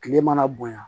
Tile mana bonya